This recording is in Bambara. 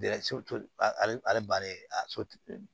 ale ale balen a sotigi